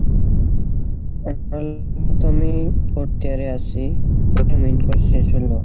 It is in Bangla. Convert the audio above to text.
এখন তো আমি fourth year এ আসি শেষ হলো,